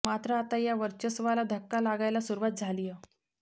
मात्र आता या वर्चस्वाला धक्का लागायला सुरुवात झालीय